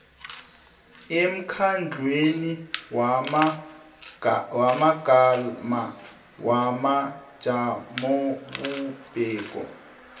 emkhandlwini wamagama wamajamobumbeko